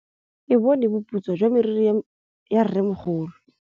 Ke bone boputswa jwa meriri ya rrêmogolo.